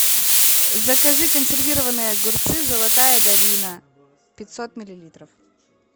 закажи консервированные огурцы золотая долина пятьсот миллилитров